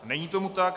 Není tomu tak.